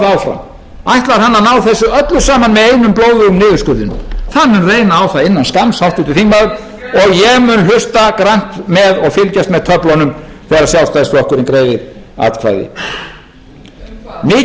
áfram ætlar hann að ná þessu öllu saman með einum blóðugum niðurskurðinum það mun reyna á það innan skamms háttvirtur þingmaður og ég mun hlusta grannt með og fylgjast með töflunum þegar sjálfstæðisflokkurinn greiðir atkvæði mikilvægustu